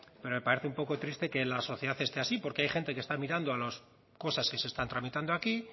pero me parece un poco triste que la sociedad esté así porque hay gente que está mirando a las cosas que se están tramitando aquí